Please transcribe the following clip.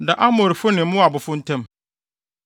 da Amorifo ne Moabfo ntam.